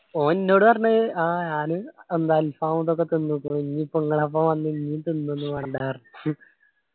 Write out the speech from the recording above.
ഓൻ ന്നോട് പറഞ്ഞത് ആഹ് ആള് എന്തോ അൽഫാം ഒക്കെ തിന്നുക്കുണു ഇനി ഇപ്പൊ ഇങ്ങളൊപ്പം ഇനിയും തിന്നും ന്നു പറഞ്ഞിട്ടുണ്ടാർന്ന്